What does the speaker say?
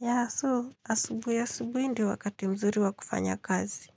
Yah so, asubuhi asubuhi ndiyo wakati mzuri wa kufanya kazi.